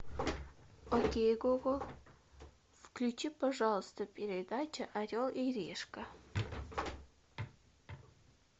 окей гугл включи пожалуйста передачу орел и решка